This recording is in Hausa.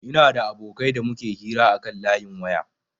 Ina da abokai da muke hira akan layin waya